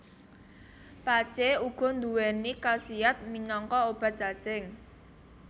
Pacé uga nduwèni kasiyat minangka obat cacing